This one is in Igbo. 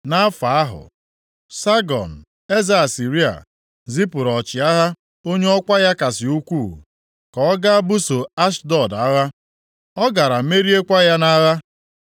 Nʼafọ ahụ, Sagọn, eze Asịrịa, zipụrụ ọchịagha onye ọkwa ya kasị ukwuu, ka ọ gaa buso Ashdọd agha. Ọ gara meriekwa ya nʼagha.